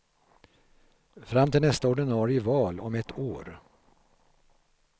Fram till nästa ordinarie val om ett år.